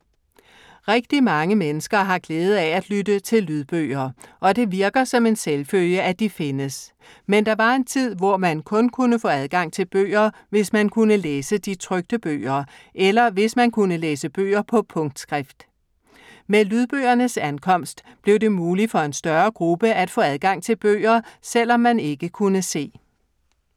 Rigtig mange mennesker har glæde af at lytte til lydbøger. Og det virker som en selvfølge, at de findes. Men der var en tid, hvor man kun kunne få adgang til bøger, hvis man kunne læse de trykte bøger. Eller hvis man kunne læse bøger på punktskrift. Med lydbøgernes ankomst blev det muligt for en større gruppe at få adgang til bøger, selv om man ikke kunne se.